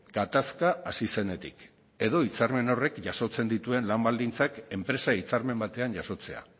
gatazka hasi zenetik edo hitzarmen horrek jasotzen dituen lan baldintzak enpresa hitzarmen batean jasotzea